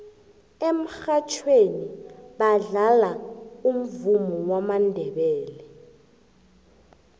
emurhatjhweni badlala umvumo wamandebele